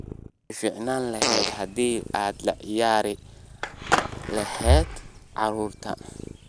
Way fiicnaan lahayd haddii aad la ciyaari lahayd carruurtayda